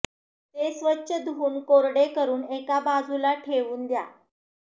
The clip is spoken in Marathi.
ते स्वच्छ धुऊन कोरडे करुन एका बाजूला ठेवून द्या